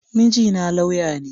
Mijina laywa ne.